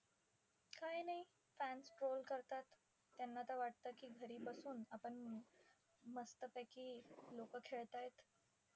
काही नाही fans troll करतात. त्यांना तर वाटतं की घरी बसून, आपण मस्तपैकी लोकं खेळतायत